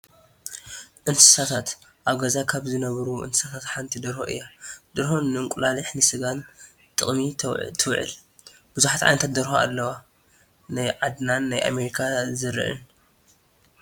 እንስሳታት፡- ኣብ ገዛ ካብ ዝነብራ እንስሳት ሓንቲ ደርሆ እያ፡፡ ደርሆ ንእንቁላሊሕን ንስጋን ጥቕሚ ትውዕ፡፡ ብዙሓት ዓይነታት ደርሆ ኣለዋ፡፡ ናይ ዓድናን ናይ ኣሜሪካ ዘርእን፡፡